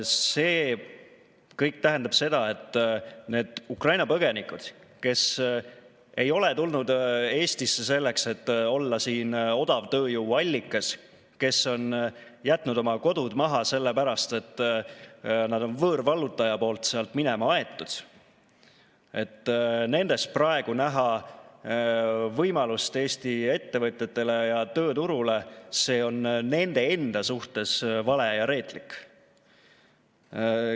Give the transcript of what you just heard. See kõik tähendab seda, et need Ukraina põgenikud, kes ei ole tulnud Eestisse selleks, et olla siin odavtööjõu allikas, kes on jätnud oma kodud maha sellepärast, et nad on võõrvallutaja poolt sealt minema aetud, nendes praegu näha võimalust Eesti ettevõtjatele ja tööturule, on nende enda suhtes vale ja reetlik.